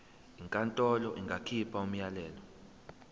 inkantolo ingakhipha umyalelo